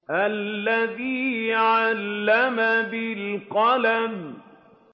الَّذِي عَلَّمَ بِالْقَلَمِ